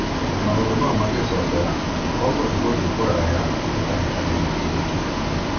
Na maũndũ mangĩcokera, Kongo megũthiĩ kũraya kĩhĩtahĩtanoinĩ gĩkĩ.